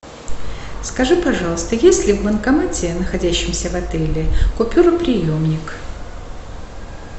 скажи пожалуйста есть ли в банкомате находящемся в отеле купюроприемник